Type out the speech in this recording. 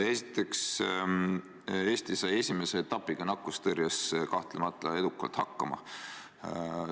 Esiteks, Eesti sai esimese etapiga nakkustõrjes kahtlemata edukalt hakkama.